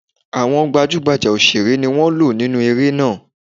Àwọn gbajúgbajà òṣèré ni wọ́n lò nínu eré náà.